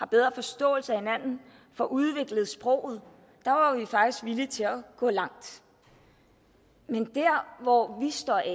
bedre forståelse af hinanden og får udviklet sproget der var vi faktisk villige til at gå langt men dér hvor vi står af